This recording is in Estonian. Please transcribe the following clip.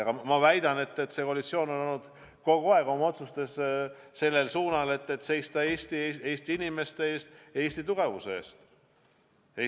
Aga ma väidan, et see koalitsioon on kogu aeg oma otsustes hoidnud suunda seista Eesti inimeste eest, Eesti tugevuse eest.